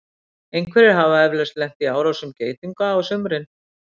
Einhverjir hafa eflaust lent í árásum geitunga á sumrin.